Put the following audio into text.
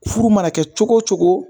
Furu mana kɛ cogo cogo